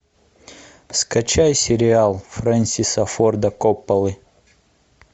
скачай сериал френсиса форда копполы